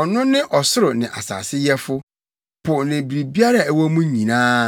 Ɔno ne ɔsoro ne asase Yɛfo, po ne biribiara a ɛwɔ mu nyinaa